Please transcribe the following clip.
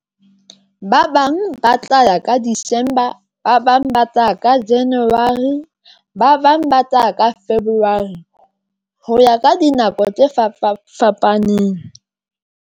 Ba bang ba tla ya ka December, ba bang ba tla ya January, ba bang ba tla ka February ho ya ka dinako tse fapa fapaneng.